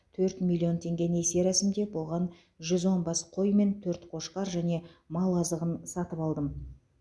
төрт миллион теңге несие рәсімдеп оған жүз он бас қой мен төрт қошқар және мал азығын сатып алдым